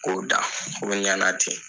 K'o da o ɲana ten